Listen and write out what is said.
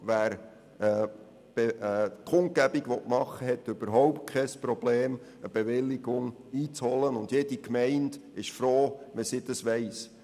Wer eine Kundgebung organisieren will, hat kein Problem, eine Bewilligung einzuholen, und jede Gemeinde ist froh, wenn sie davon weiss.